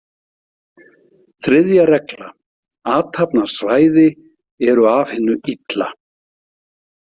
Þriðja regla: Athafnasvæði eru af hinu illa.